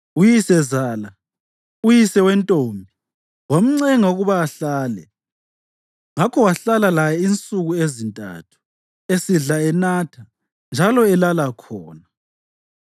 Uyisezala, uyise wentombi, wamncenga ukuba ahlale; ngakho wahlala laye insuku ezintathu, esidla enatha, njalo elala khona.